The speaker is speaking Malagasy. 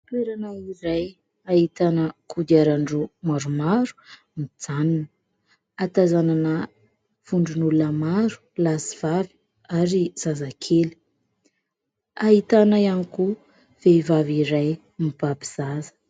Toerana iray ahitana kodiaran-droa maromaro mijanona, ahatazanana vondron'olona maro lahy sy vavy ary zazakely, ahitana ihany koa vehivavy iray mibaby zaza.